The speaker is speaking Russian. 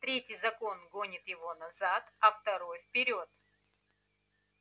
третий закон гонит его назад а второй вперёд